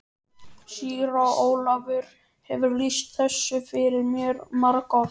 Síra Ólafur hefur lýst þessu fyrir mér margoft.